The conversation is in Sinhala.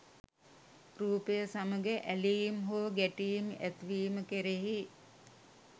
රූපය සමඟ ඇලීම් හෝ ගැටීම් ඇතිවීම කෙරෙහි